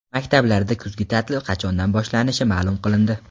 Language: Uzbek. Maktablarda kuzgi ta’til qachondan boshlanishi ma’lum qilindi.